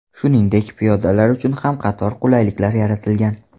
Shuningdek, piyodalar uchun ham qator qulayliklar yaratilgan.